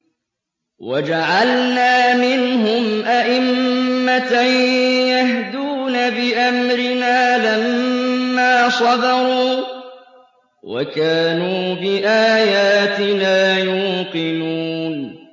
وَجَعَلْنَا مِنْهُمْ أَئِمَّةً يَهْدُونَ بِأَمْرِنَا لَمَّا صَبَرُوا ۖ وَكَانُوا بِآيَاتِنَا يُوقِنُونَ